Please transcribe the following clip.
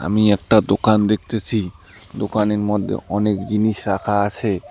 আমি একটা দোকান দেখতেছি দোকানের মধ্যে অনেক জিনিস রাখা আছে।